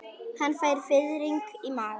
Hann fær fiðring í magann.